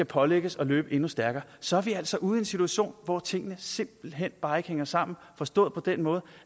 pålægges at løbe endnu stærkere så er vi altså ude i en situation hvor tingene simpelt hen bare ikke hænger sammen forstået på den måde